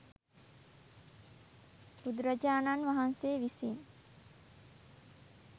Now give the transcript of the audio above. බුදුරජාණන් වහන්සේ විසින්